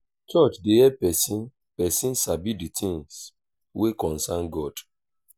church dey help pesin pesin sabi de things wey concern god.